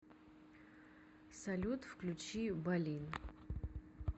салют включи болин